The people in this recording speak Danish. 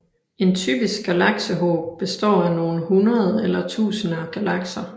En typisk galaksehob består af nogle hundrede eller tusinde galakser